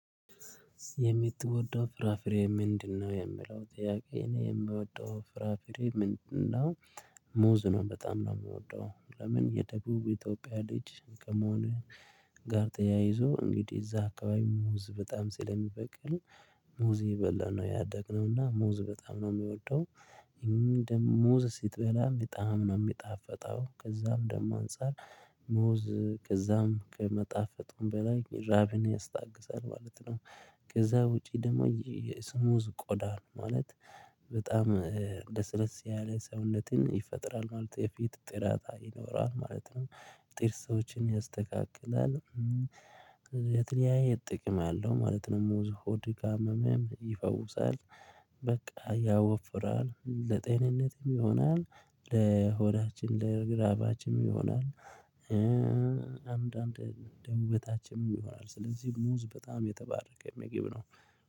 የምትወደው ፍራፍሬ ምንድነው የምለው ጥያቄ ነው የምወደው ፍራፍሬ ምንድነው? ሙዝ ነው በጣም ነው የምወደው። ለምን የደቡብ ኢትዮጵያ ልጅ ከመሆኔ ጋር ተያይዞ እንግዲህ እዛ አካባቢ ሙዝ በጣም ስለሚበቅል። ሙዝ የበላን ነው ያደግነውና ሙዝ በጣም ነው የሚወደው። ደግሞ ሙዝ ስትበላ በጣም ነው የሚጣፈጠው ከዛም ደግሞ አንፃር ሙዝ ከዛም ከመጣፈጡም በላይ ራብን ያስታግሳል ማለት ነው። ከዛ ውጪ ደግሞ የስሙዝ ቆዳ ነው ማለት በጣም ለስለስ ያለ ሰውነትን ይፈጥራል ማለት የፊት ጥራት ይኖራል ማለት ነው። ጥርሶችን ያስተካክላል። የትለያየ ጥቅም አለው ማለት ነው ሙዝ ሆድ ካመመ ይፈውሳል በቃ ያወፍራል ለጤንነትም ይሆናል። ለሆዳችን ለራባችንም ይሆናል። አንዳንዴ ደውበታችንም ይሆናል ስለዚህ ሙዝ በጣም የተባረከ ምግብ ነው